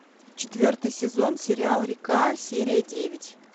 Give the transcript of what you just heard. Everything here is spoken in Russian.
четвертый сезон сериала река серия девять